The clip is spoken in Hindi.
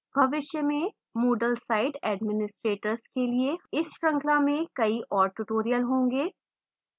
भविष्य में moodle site administrators के लिए इस श्रृंखला में कई और tutorials होंगे